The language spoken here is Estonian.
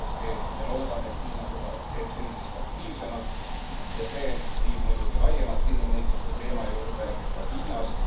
Kindlasti me loodame, et Hiina teeb seda senisest aktiivsemalt ja see viib muidugi laiemalt inimõiguste teema juurde ka Hiinas.